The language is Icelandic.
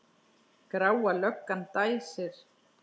Gráa löggan dæsir.